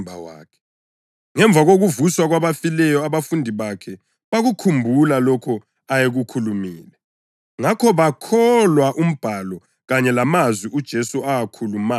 Ngemva kokuvuswa kwabafileyo abafundi bakhe bakukhumbula lokho ayekukhulumile. Ngakho bawukholwa uMbhalo kanye lamazwi uJesu awakhulumayo.